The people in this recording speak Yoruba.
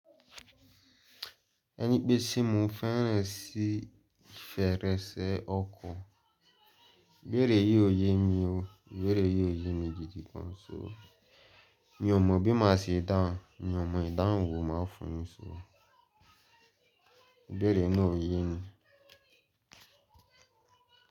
Ẹni pé ṣi mo fẹ́rẹ̀ẹ́ sí fèrèsé ọkọ̀, ibéèrè yí òye mi o, béèrè yí òye mi gidi gan ṣo. Mi ò mọ̀ bí má ṣe dáhùn, mi ò mọ̀ ìdáhùn wo màá fún yin ṣo. Ibèèrè náà ò yé mi.